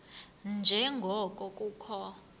nje ngoko kukho